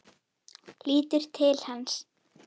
Lítur til hans.